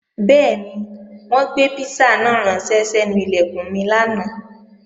Bẹ́ẹ̀ni, wọ́n gbé písà náà ránṣẹ́ sẹ́nu Ilẹ̀kùn mi lánàá